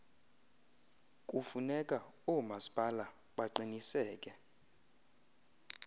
kufuneka oomasipala baqiniseke